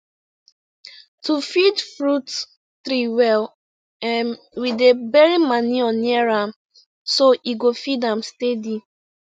to feed fruit tree well um we dey bury manure near am so e go feed am steady